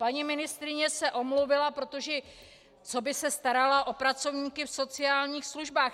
Paní ministryně se omluvila, protože co by se starala o pracovníky v sociálních službách?